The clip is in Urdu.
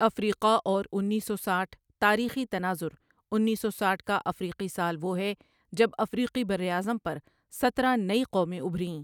افریقہ اور انیس سو سٹھ تاریخی تناظر انیس سو سٹھ کا افریقی سال وہ ہے جب افریقی براعظم پر سترہ نئی قومیں ابھریں۔